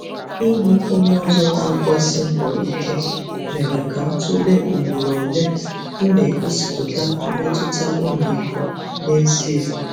Ịhụ onye ọzọ na-agbasi mbọ ike mere ka m tụlee ugboro ole m na-egosipụta mmetụta ọmịiko n’ezie.